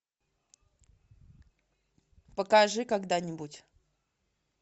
покажи когда нибудь